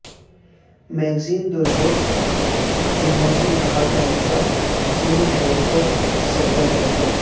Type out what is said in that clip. magazine دوجور کے موسم بہار کا مسئلہ سلمی حیک کو سجدہ کرے گا